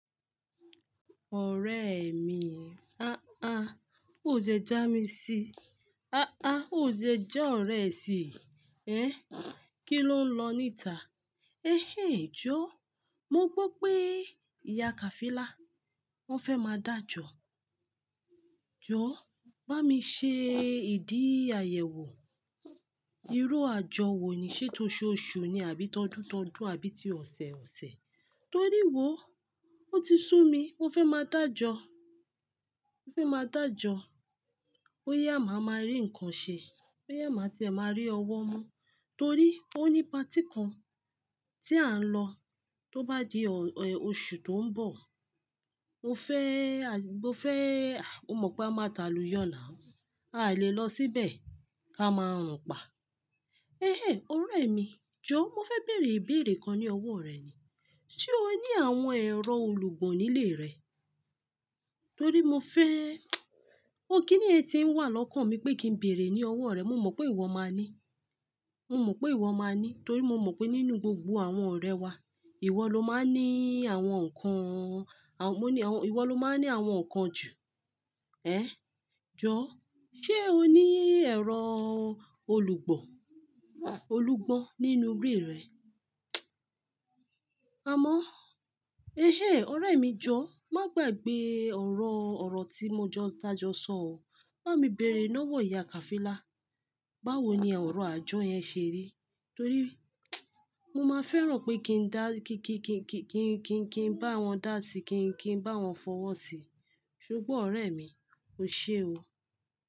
Ọ̀rẹ́ mi, o dẹ já mi síi. O dẹ ja ọ̀rẹ́ sii. Ki ló ń lọ níta? Jó, mo gbó pé Ìyá Khafila, wọn fẹ́ má dájọ́. Jó, bá mi ṣe ìdí àyẹ̀wò. Irú àjọ wo ni, ṣe tó oṣooṣù ni àbí tọdúntọdún àbí ti ọ̀sẹ̀ọ̀sẹ̀? Torí wò, ó ti sú mi, mó fẹ́ má dájọ́. Mo fẹ́ má dájọ́, bóyá máa n má rí ǹkan ṣe, bóyá máa n tí ẹ máa n rí ọwọ́ mú. Torí ó ní patí kan tí à ń lọ, tó bá di oṣù tó ń bọ̀. Mo fẹ́, o mọ pé a má ta lù yoo now. A lè lọ síbẹ̀ ká máa n rùn pá. Ọ̀rẹ́ mi, jó mo fẹ́ bèèrè ìbèèrè kan ní ọwọ́ rẹ ni. Sé o ní àwọn ẹ̀rọ olùgbò nílé rẹ? Torí mo fẹ́, kí niyen tí ń wà lọ́kàn mi pé kí n bèèrè ní ọwọ́ rẹ, mo mọ̀ pé ìwọ máa ní. Torí mo mọ̀ pé nínú gbogbo àwọn ọ̀rẹ́ wá, ìwọ ló máa ní àwọn nǹkan, ìwọ ló máa ní àwọn nǹkan jù. Jó, ṣe o ní ẹ̀rọ olùgbọ́n nínú ilé rẹ? Amo, ọ̀rẹ́ mi, jó má gbàgbé ọ̀rọ̀ tí tájọ́ sọ ọ. Bá mi bèèrè lọ́wọ́ Ìyá Khafila, báwo ni ọ̀rọ̀ àjọ yẹn ṣe rí? Torí mo máa fẹ́ràn pé kí bá wọn dá sí i, kí n bá wọn fọwọ́ sí i. Ṣo gbọ́ ọ̀rẹ́ mi, o ṣe o.